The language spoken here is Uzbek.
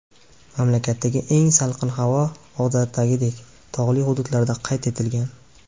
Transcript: Mamlakatdagi eng salqin havo, odatdagidek, tog‘li hududlarda qayd etilgan.